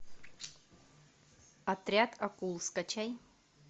отряд акул скачай